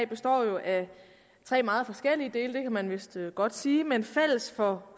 består jo af tre meget forskellige dele det kan man vist godt sige men fælles for